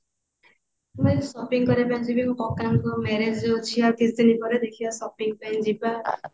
ମୁଁ shopping କରିବା ପାଇଁ ଯିବି କକା ଙ୍କ marriage ଯୋଉ ଅଛି ଆଉ କିଛି ଦିନ ପରେ ଦେଖିବା shopping ପାଇଁ ଯିବା